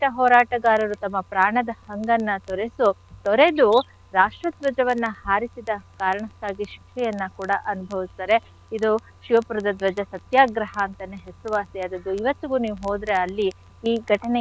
ಹೋರಾಟಗಾರರು ತಮ್ಮ ಪ್ರಾಣದ ಹಂಗನ್ನ ತೊರೆಸು ತೊರೆದು ರಾಷ್ಟ್ರ ಧ್ವಜವನ್ನ ಹಾರಿಸಿದ ಕಾರಣಕ್ಕಾಗಿ ಶಿಕ್ಷೆಯನ್ನ ಕೂಡ ಅನುಭವಿಸ್ತಾರೆ. ಇದು ಶಿವಪುರದ ಧ್ವಜ ಸತ್ಯಾಗ್ರಹ ಅಂತಾನೆ ಹೆಸರುವಾಸಿಯಾದದ್ದು. ಇವತ್ತಿಗೂ ನೀವ್ ಹೋದ್ರೆ ಅಲ್ಲಿ ಈ ಘಟನೆಯ,